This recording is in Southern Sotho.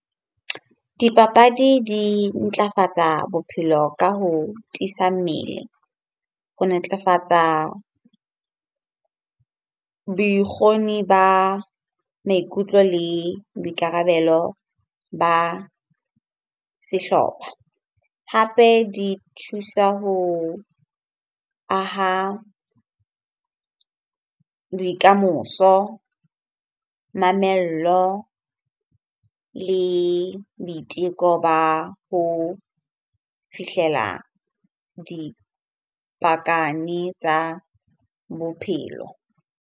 Dipapadi di ntlafatsa bophelo ka ho tiisa mmele ho netefatsa boikgoni ba maikutlo le boikarabelo ba sehlopha. Hape di thusa ho aha bokamoso, mamello le boiteko ba ho fihlela dipakane tsa bophelo.